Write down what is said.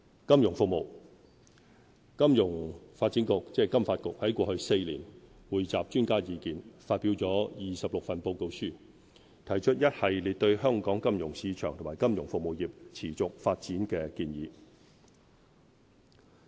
金融服務金融發展局在過去4年，匯集專家意見，發表了26份報告書，提出一系列對香港金融市場及金融服務業持續發展的建議。